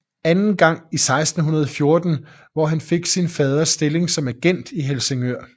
Anden gang i 1614 hvor han fik sin faders stilling som agent i Helsingør